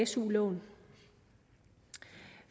su lån